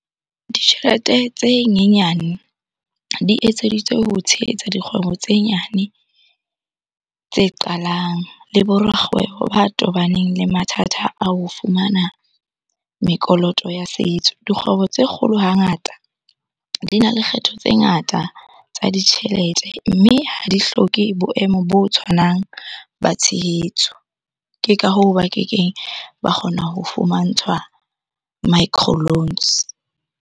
Ditjhelete tse nyenyane di etseditswe ho tshehetsa dikgwebo tse nyane tse qalang le bo rakgwebo ba tobaneng le mathata a ho fumana mekoloto ya setso. Dikgwebo tse kgolo hangata di na le kgetho tse ngata tsa ditjhelete, mme ha di hloke boemo bo tshwanang ba tshehetso. Ke ka hoo, ba kekeng ba kgona ho fumantshwa micro loans.